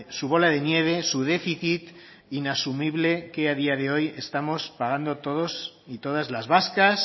su bola de nieve su déficit inasumible que a día de hoy estamos pagando todos y todas las vascas